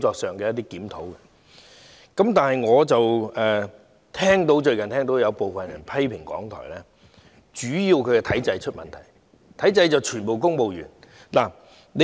另一方面，我最近聽到有部分人批評港台，主要是指其體制出現問題，全部是公務員。